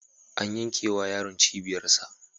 An yankewa yaron cibiyarsa.